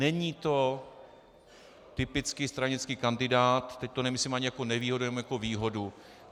Není to typický stranický kandidát - teď to nemyslím ani jako nevýhodu, ani jako výhodu.